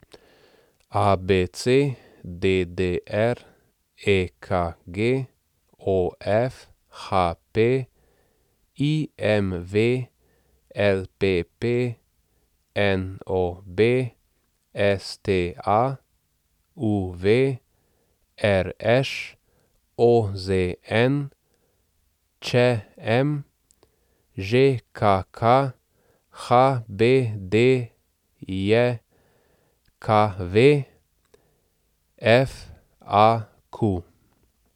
ABC, DDR, EKG, OF, HP, IMV, LPP, NOB, STA, UV, RŠ, OZN, ČM, ŽKK, HBDJKV, FAQ.